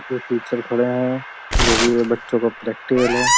ये टीचर खड़े हैं जोकि ये बच्चों का प्रैक्टिकल है।